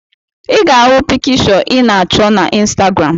I ga-ahụ pikịshọ ị na achọ na Instagram